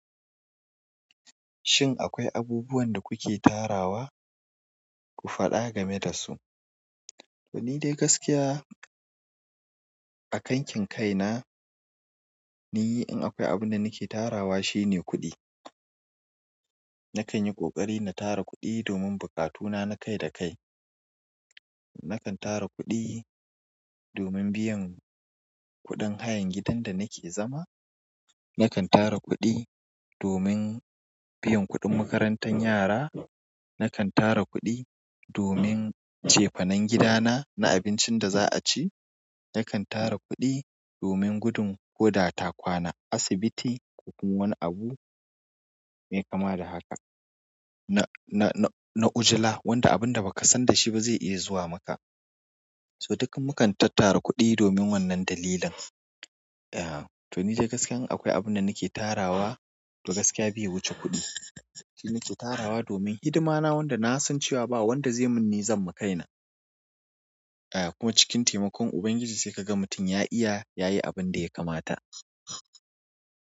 Shin akwai abubuwan da kuke tarawa? Ku faɗa game da su. To ni dai gaskiya a kankin kaina, ni in akwai abin da nake tarawa shine kuɗi. Nakan yi ƙoƙari na tara kuɗi domin bukatuna na kai da kai. Nakan tara kuɗi domin biyan kuɗin hayan gidan da nake zama. Nakan tara kuɗi domin biyan kuɗin makarantan yara. Nakan tara kuɗi domin cefanen gidana na abincin da za a ci. Nakan tara kuɗi domin gudun koda ta kwana asibiti ko kuma wani abu mai kama da haka na, na, na, na'ujula wanda abin da ba ka san dashi ba zai iya zuwa maka. So duk mu kan tattara kuɗi domin wannan dalilan. To ni dai gaskiya in akwai abinda nake tarawa to gaskiya bai wuce kuɗi shi nake tarawa domin hidimana wanda nasan cewa ba wanda zai mun ni zan ma kaina a kuma cikin taimakon Ubangiji sai ka ga mutum ya iya ya yi abin da ya kamata.